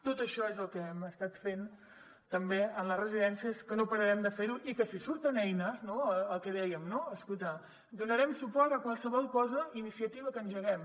tot això és el que hem estat fent també en les residències que no pararem de fer ho i que si surten eines no el que dèiem escolta donarem suport a qualsevol cosa iniciativa que engeguem